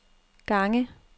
gange